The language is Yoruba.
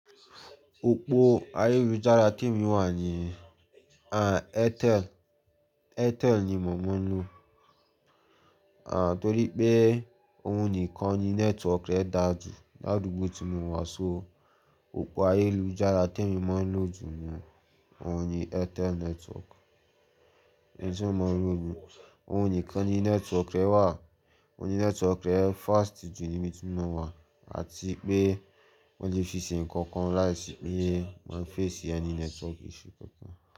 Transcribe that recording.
Opó ayélujára tí èmi wà ní, ah, Airtel, Airtel ni mò mọ̀ ń lò. Ah, torí pé òun nìkan ni network rẹ̀ dáa jù lárugbo tí mo wà, so opó ayélujára tí èmi máa ń lò jù ni òun ni Airtel network. Èyí tí mo máa ń lò jù, òun nìkan ni network rẹ̀ wà, òun ni network rẹ̀ fast jù níbi tí mo wà àti pé mo lè fi ṣe nnkan kan láìsí pé màá fẹ́ ṣe ẹni network iṣu kankan.